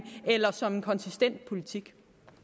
eller som en konsistent politik